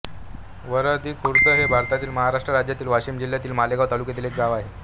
वारदरीखुर्द हे भारतातील महाराष्ट्र राज्यातील वाशिम जिल्ह्यातील मालेगाव तालुक्यातील एक गाव आहे